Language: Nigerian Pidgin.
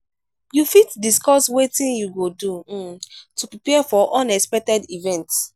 you fit discuss wetin you go do um to prepare for unexpected events?